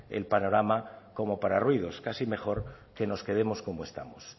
el panorama como para ruidos casi mejor que nos quedemos como estamos